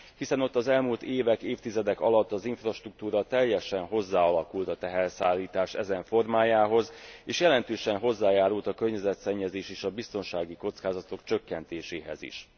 Hiszen ott az elmúlt évek, évtizedek alatt az infrastruktúra teljesen hozzáalakult a teherszállítás ezen formájához és jelentősen hozzájárult a környezetszennyezés és a biztonsági kockázatok csökkentéséhez is.